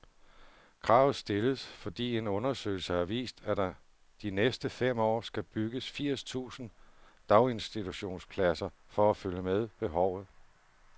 Kravet stilles, fordi en undersøgelse har vist, at der de næste fem år skal bygges firs tusind daginstitutionspladser for at følge med behovet.